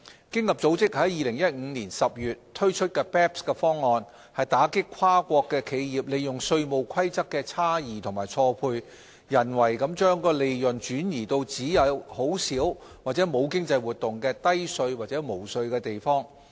經合組織於2015年10月推出 BEPS 方案，打擊跨國企業利用稅務規則的差異及錯配，人為地將利潤轉移至只有很少或沒有經濟活動的低稅或無稅地方。